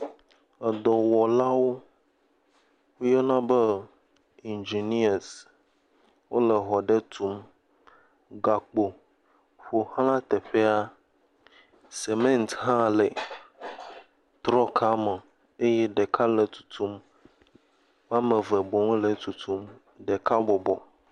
Edɔwɔlawo yɔna be, enginias wole exɔ aɖe tum. Gakpo ƒoxla teƒea. Simiti hã le trɔka me eye ɖeka le tutum. Wɔme eve boŋu le etutum. Ɖeka bɔbɔ.